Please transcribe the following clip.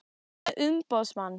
Ertu með umboðsmann?